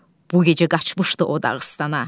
Bu gecə qaçmışdı o Dağıstana.